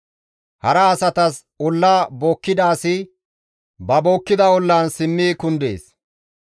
Hara asatas olla bookkida asi ba bookkida ollan simmi kundees.